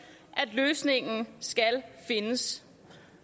at løsningen skal findes